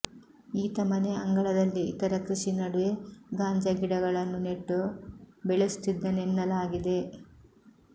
ಈತ ಮನೆ ಅಂಗಳದಲ್ಲಿ ಇತರ ಕೃಷಿ ನಡುವೆ ಗಾಂಜಾ ಗಿಡಗಳನ್ನು ನೆಟ್ಟು ಬೆಳೆಸುತ್ತಿದ್ದನೆನ್ನಲಾಗಿದೆ